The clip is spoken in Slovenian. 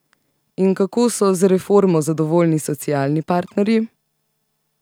In kako so z reformo zadovoljni socialni partnerji?